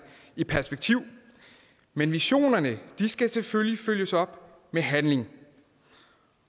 i perspektiv men visionerne skal selvfølgelig følges op med handling